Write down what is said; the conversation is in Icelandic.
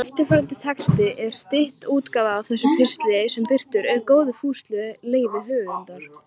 Hann sagði þó það plan sem hann hafði lagt upp með hafa heppnast.